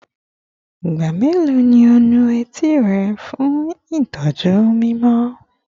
Igba melo ni o nu eti rẹ fun itọju mimọ?